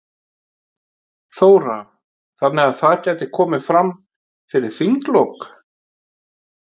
Þóra: Þannig að það gæti komið fram fyrir þinglok?